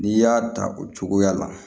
N'i y'a ta o cogoya la